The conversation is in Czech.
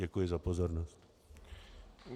Děkuji za pozornost.